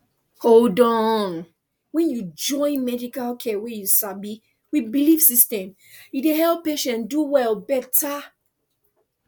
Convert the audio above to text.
hold on when you join medical care wey you sabi with belief system e dey help patient do well better